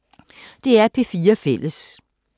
DR P4 Fælles